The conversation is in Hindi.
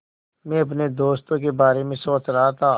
मैं अपने दोस्तों के बारे में सोच रहा था